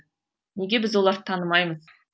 неге біз оларды танымаймыз